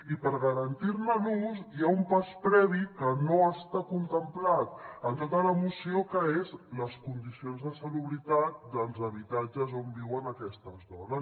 i per garantir ne l’ús hi ha un pas previ que no està contemplat en tota la moció que són les condicions de salubritat dels habitatges on viuen aquestes dones